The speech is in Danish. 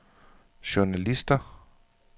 journalister